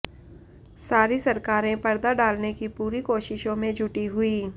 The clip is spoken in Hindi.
सारी सरकारें पर्दा डालने की पूरी कोशिशों में जुटी हुई